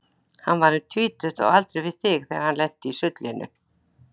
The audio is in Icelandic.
Hann var um tvítugt, á aldur við þig, þegar hann lenti í sullinu.